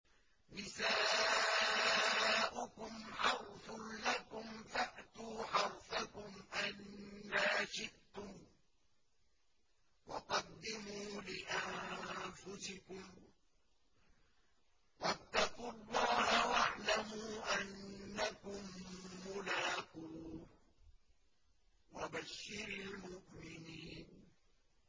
نِسَاؤُكُمْ حَرْثٌ لَّكُمْ فَأْتُوا حَرْثَكُمْ أَنَّىٰ شِئْتُمْ ۖ وَقَدِّمُوا لِأَنفُسِكُمْ ۚ وَاتَّقُوا اللَّهَ وَاعْلَمُوا أَنَّكُم مُّلَاقُوهُ ۗ وَبَشِّرِ الْمُؤْمِنِينَ